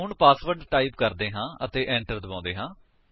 ਹੁਣ password type ਕਰਦੇ ਹਾਂ ਅਤੇ enter ਦਬਾਉਂਦੇ ਹਾਂ